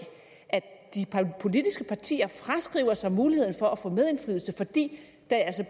at de politiske partier fraskriver sig muligheden for at få medindflydelse fordi